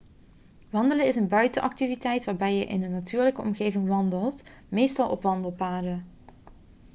wandelen is een buitenactiviteit waarbij je in een natuurlijke omgeving wandelt meestal op wandelpaden